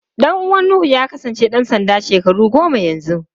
Ɗan uwan Nuhu ya kasance ɗan sanda shekaru goma yanzu.